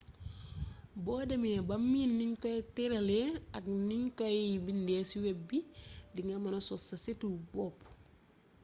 bo demmee ba miin niñ koy têralee ak nuñ koy bindee ci web bi di nga mëna sos sa situ bopp